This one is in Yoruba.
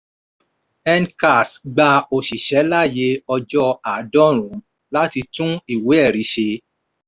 ncars gba òṣìṣẹ́ láyè ọjọ́ àádọ́rùn-ún láti tún ìwé ẹ̀rí ṣe.